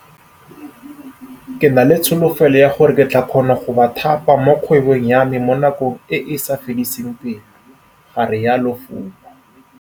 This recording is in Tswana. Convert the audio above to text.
Ke na le tsholofelo ya gore ke tla kgona go ba thapa mo kgwebong ya me mo nakong e e sa fediseng pelo, ga rialo Fuma.